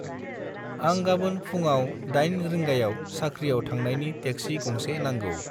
आं गाबोन फुंआव 8 रिंगायाव साख्रियाव थांनायनि टेक्सि गंसे नांगौ।